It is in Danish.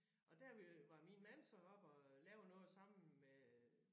Og der øh var min mand så oppe og lave noget sammen med